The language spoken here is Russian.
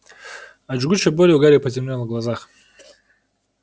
от жгучей боли у гарри потемнело в глазах